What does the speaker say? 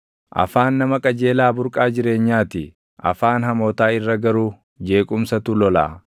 Afaan nama qajeelaa burqaa jireenyaa ti; afaan hamootaa irra garuu jeequmsatu lolaʼa.